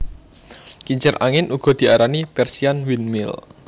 Kincir angin uga diarani Persian windmill